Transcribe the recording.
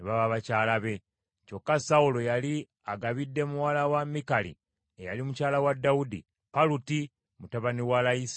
Kyokka Sawulo yali agabidde muwala we Mikali, eyali mukyala wa Dawudi, Paluti mutabani wa Layisi ow’e Galimu.